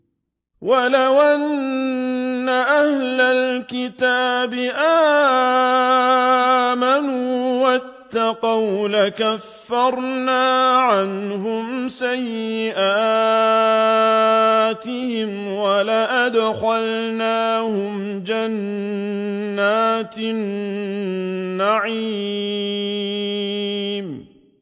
وَلَوْ أَنَّ أَهْلَ الْكِتَابِ آمَنُوا وَاتَّقَوْا لَكَفَّرْنَا عَنْهُمْ سَيِّئَاتِهِمْ وَلَأَدْخَلْنَاهُمْ جَنَّاتِ النَّعِيمِ